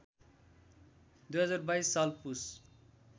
२०२२ साल पुस